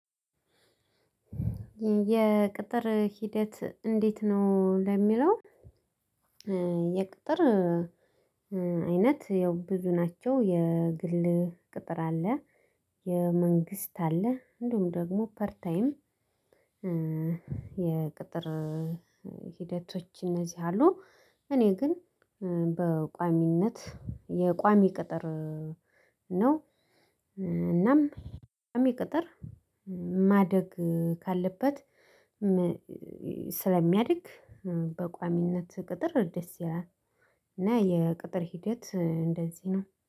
የቅጥር ሂደት እንዴት ነው? ለሚለው የቅጥር አይነት ያው ብዙ ናቸው። የግል ቅጥር አለ። የመንግስት አለ። እንዲሁም ደግሞ ፐር ታይም የቅጥር ሂደቶች እነዚህ አሉ። እኔ ግን በቋሚነት የቋሚ ቅጥር ነው። እናም የቋሚ ቅጥር ማደግ ካለበት ስለሚያድግ በቋሚነት ቅጥር ደስ ይላል። እና የቅጥር ሂደት እንደዚህ ነው።